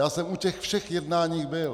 Já jsem u těch všech jednání byl.